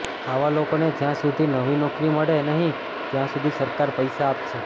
આવા લોકોને જ્યાં સુધી નવી નોકરી મળે નહીં ત્યાં સુધી સરકાર પૈસા આપશે